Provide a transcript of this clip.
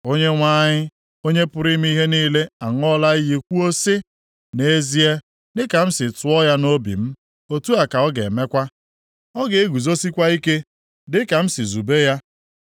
Onyenwe anyị, Onye pụrụ ime ihe niile aṅụọla iyi kwuo sị, “Nʼezie, dịka m si tụọ ya nʼobi m, otu a ka ọ ga-emekwa. Ọ ga-eguzosikwa ike dịka m si zube ya.